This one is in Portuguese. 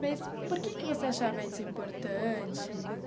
Mas por que que você achava isso importante?